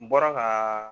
N bɔra ka